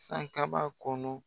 San kaba kɔnɔ.